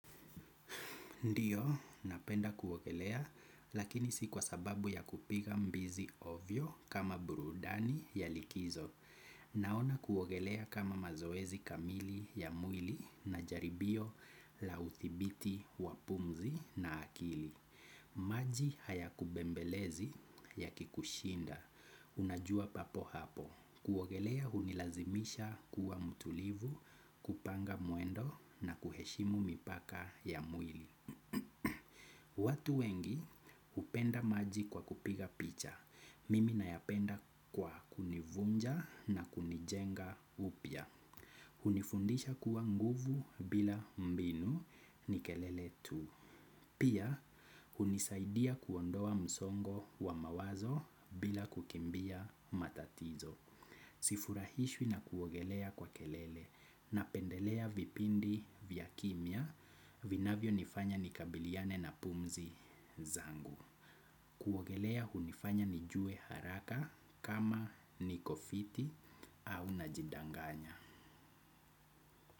Ndiyo, napenda kuogelea, lakini si kwa sababu ya kupiga mbizi ovyo kama burudani ya likizo. Naona kuogelea kama mazoezi kamili ya mwili na jaribio la uthibiti wa pumzi na akili. Maji haya kubembelezi ya kikushinda. Unajua papo hapo. Kuogelea hunilazimisha kuwa mtulivu kupanga mwendo na kuheshimu mipaka ya mwili. Watu wengi hupenda maji kwa kupiga picha, mimi nayapenda kwa kunivunja na kunijenga upya. Hunifundisha kuwa nguvu bila mbinu ni kelele tu. Pia hunisaidia kuondoa msongo wa mawazo bila kukimbia matatizo. Sifurahishwi na kuogelea kwa kelele napendelea vipindi vya kimya vinavyonifanya nikabiliane na pumzi zangu. Kuogelea hunifanya nijue haraka kama niko fiti au najidanganya.